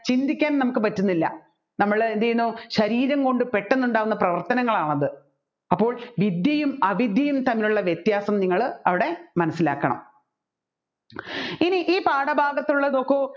ചിന്തിക്കാൻ നമ്മുക്ക് പറ്റുന്നില്ല നമ്മൾ എന്ത് ചെയ്യുന്നു ശരീരം കൊണ്ട് പെട്ടെന്നുണ്ടാകുന്ന പ്രവർത്തനങ്ങളാണ് അത് അപ്പോൾ വിദ്യയും അവിദ്യയും തമ്മിലുള്ള വ്യത്യാസം അവിടെ മനസ്സിലാക്കണം ഇനി ഈ പാഠഭാഗത്തുള്ളത് നോക്കു